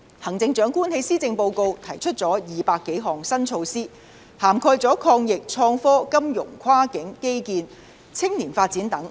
行政長官在施政報告提出200多項新措施，涵蓋抗疫、創科、金融、跨境基建和青年發展等。